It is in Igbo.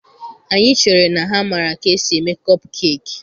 Anyị chere na ha maara ka esi eme kọpkeki.